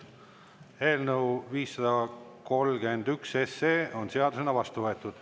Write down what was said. Eelnõu 531 on seadusena vastu võetud.